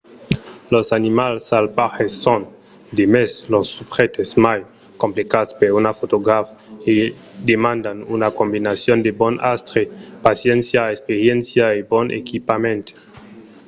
los animals salvatges son demest los subjèctes mai complicats per un fotograf e demandan una combinason de bon astre paciéncia experiéncia e bon equipament